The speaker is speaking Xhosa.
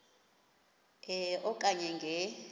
e okanye nge